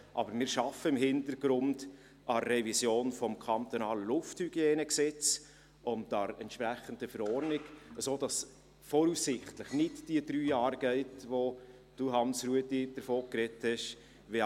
Aber wir arbeiten im Hintergrund an der Revision des Gesetzes zur Reinhaltung der Luft (Lufthygienegesetz, LHG) und an der entsprechenden Verordnung, sodass es voraussichtlich nicht diese drei Jahre dauern wird, von welchen Sie, Hans-Rudolf Saxer, gesprochen haben.